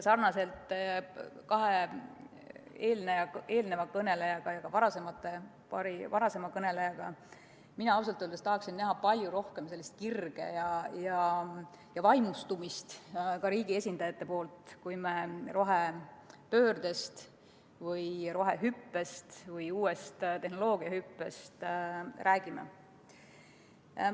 Sarnaselt kahe eelmise ja ka paari varasema kõnelejaga mina ausalt öeldes tahaksin näha palju rohkem kirge ja vaimustumist ka riigi esindajatelt, kui me rohepöördest või rohehüppest või uuest tehnoloogiahüppest räägime.